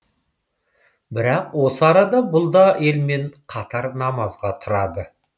бірақ осы арада бұл да елмен қатар намазға тұрады